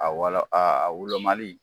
A wala a wolomali